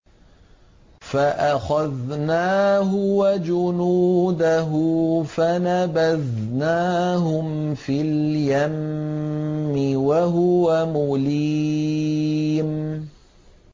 فَأَخَذْنَاهُ وَجُنُودَهُ فَنَبَذْنَاهُمْ فِي الْيَمِّ وَهُوَ مُلِيمٌ